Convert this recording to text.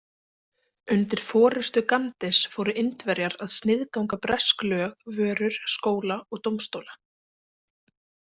Undir forystu Gandhis fóru Indverjar að sniðganga bresk lög, vörur, skóla og dómstóla.